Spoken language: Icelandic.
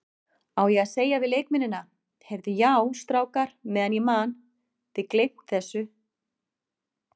Á ég að segja við leikmennina, Heyrðu já strákar meðan ég man, þið gleymt þessu?